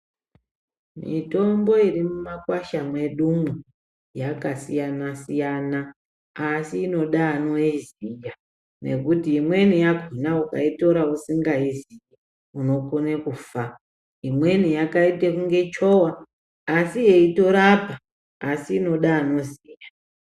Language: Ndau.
Mitombo iri mumakwasha mwedumwo, yaka siyana siyana, asi inoda anoiziya, ngekuti imweni yakhona ukaitora usinga iziyi unokone kufa. Imweni yakaite kunge chowa asi yeito rapa, asi inode anoziya.